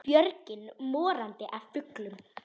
Björgin morandi af fuglum.